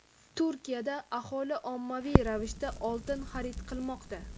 Turkiyada aholi ommaviy ravishda oltin xarid qilmoqda.